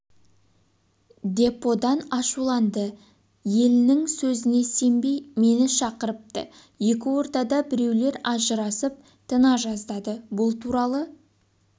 деподан ашуланды йелінің сөзіне сенбей мені шақырыпты екі ортада біреулер ажырасып тына жаздады бұл туралы